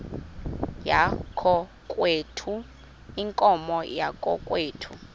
yakokwethu iinkomo zakokwethu